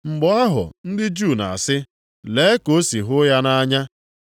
Mgbe ahụ ndị Juu na-asị, “Lee ka o si hụ ya nʼanya.”